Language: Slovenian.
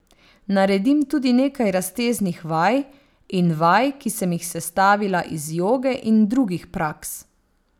Naredim tudi nekaj razteznih vaj in vaj, ki sem jih sestavila iz joge in drugih praks.